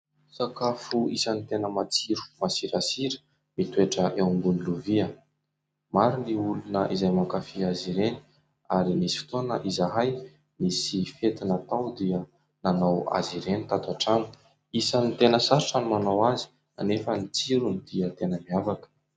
Sakafo isan'ny tena matsiro masirasira mitoetra eo ambonin'ny lovia maro ny olona izay mankafy azy ireny ary nisy fotoana izahay nisy fety natao dia nanao azy ireny tato an-trano isan'ny tena sarotra ny manao azy kanefa ny tsirony dia tena mihavaka.